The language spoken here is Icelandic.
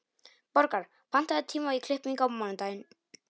Borgar, pantaðu tíma í klippingu á mánudaginn.